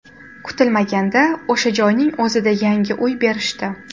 Kutilmaganda o‘sha joyning o‘zida yangi uy berishdi.